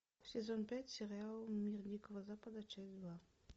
сезон пять сериал мир дикого запада часть два